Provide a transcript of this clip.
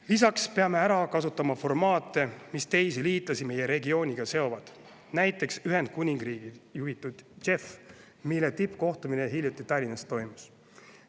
Lisaks peame ära kasutama formaate, mis teisi liitlasi meie regiooniga seovad, näiteks Ühendkuningriigi juhitud JEF, mille tippkohtumine hiljuti Tallinnas toimus.